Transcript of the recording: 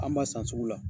An b'a san sugu la